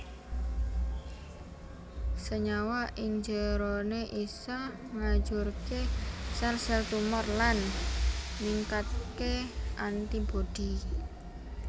Senyawa ing jeroné isa ngajurké sel sel tumor lan ningkatké antibodi